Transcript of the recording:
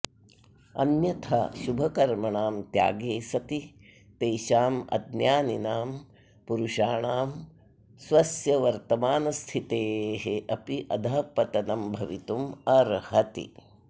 अन्यथा शुभकर्मणां त्यागे सति तेषाम् अज्ञानिनां पुरुषाणां स्वस्य वर्तमानस्थितेः अपि अधःपतनं भवितुम् अर्हति